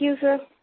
thank you सिर